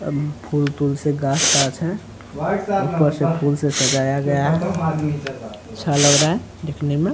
अब फूल-तूल से गाछ-ताछ है ऊपर से फूल से सजाया गया है अच्छा लग रहा है देखने मे।